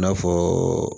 I n'a fɔ